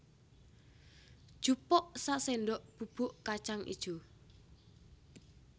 Jupuk saséndok bubuk kacang ijo